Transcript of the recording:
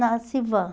Na Civan.